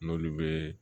N'olu bɛ